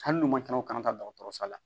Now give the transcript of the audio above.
Hali n'u man ca u kana taa dɔgɔtɔrɔso la